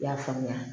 I y'a faamuya